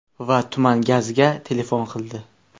Va tuman gazga telefon qildi.